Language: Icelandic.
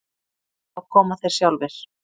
Þá koma þeir sjálfir.